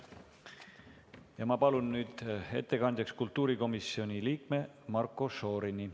Ma palun nüüd ettekandjaks kultuurikomisjoni liikme Marko Šorini.